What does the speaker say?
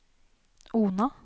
Ona